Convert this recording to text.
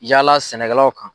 Yala sɛnɛkɛlaw kan.